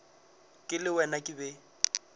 ke le wena ke be